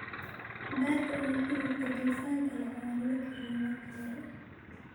Beerka iyo hilibka dufanka leh ayaa nala kariyey markii hore